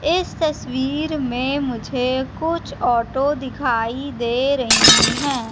इस तस्वीर में मुझे कुछ ऑटो दिखाई दे रहीं हैं।